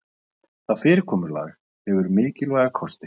Það fyrirkomulag hefur mikilvæga kosti